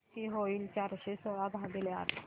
किती होईल चारशे सोळा भागीले आठ